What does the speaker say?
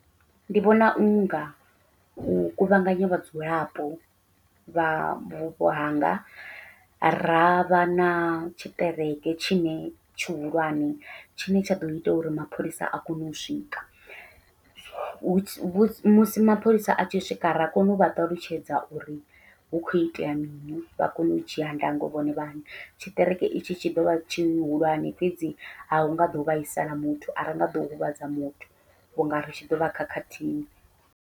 Ndi vhona unga u kuvhanganya vhadzulapo vha vhupo hanga ravha na tshiṱereke tshine tshihulwane tshine tsha ḓo ita uri mapholisa a kone u swika, musi musi mapholisa a tshi swika ra kona uvha ṱalutshedza uri hu khou itea mini vha kone u dzhia ndango vhone vhaṋe, tshiṱereke itshi tshi ḓovha tshihulwane fhedzi ahunga ḓo vhaisala muthu a ringa ḓo huvhadza muthu vhunga ri tshi ḓovha khakhathini.